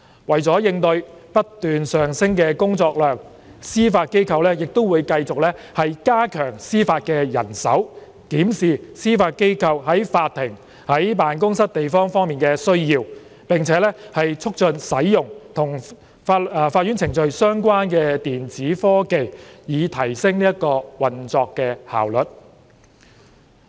為了應對不斷上升的工作量，司法機構會繼續加強司法人手，檢視司法機構在法庭及辦公室地方方面的需要，並促進使用與法院程序相關的電子科技，以提升運作效率。